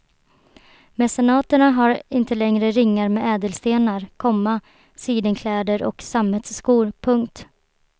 Mecenaterna har inte längre ringar med ädelstenar, komma sidenkläder och sammetsskor. punkt